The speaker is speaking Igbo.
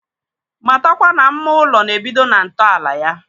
Matakwa na mma ụlọ na-ebido na ntọala ya.